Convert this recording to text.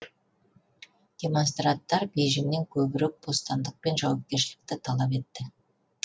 демонстранттар бейжіңнен көбірек бостандық пен жауапкершілікті талап етті